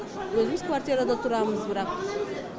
өзіміз квартирада тұрамыз бірақ